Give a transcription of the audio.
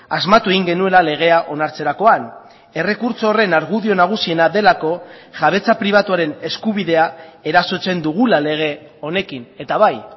asmatu egin genuela legea onartzerakoan errekurtso horren argudio nagusiena delako jabetza pribatuaren eskubidea erasotzen dugula lege honekin eta bai